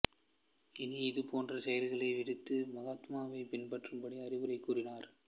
இனி இதுபோன்ற செயல்களை விடுத்து மகாத்மாவைப் பின்பற்றும்படி அறிவுரை கூறினார்